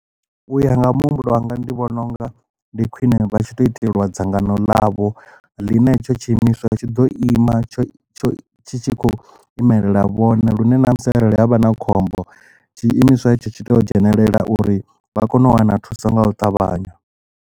U ya nga muhumbulo wanga ndi vhona unga ndi khwine vha tshi to itelwa dzangano ḽavho ḽine hetsho tshi imiswa tshi ḓo ima tsho tshi tshi khou imelela vhone lune na musi arali havha na khombo tshi imiswa hetsho tshi to dzhenelela uri vha kone u wana thuso nga u ṱavhanya.